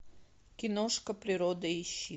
киношка природа ищи